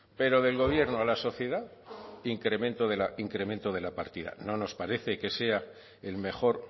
pero del gobierno a la sociedad incremento de la partida no nos parece que sea el mejor